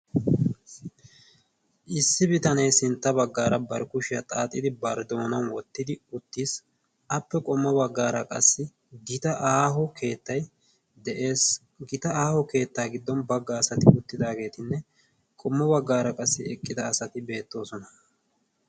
Issi bitanee sintta baggaara barkkushiyaa xaaxidi barddoonau wottidi uttiis appe qommo baggaara qassi gita aaho keettai de'ees. gita aaho keettaa giddon baggaa asati uttidaageetinne qommo baggaara qassi eqqida asati beettoosona.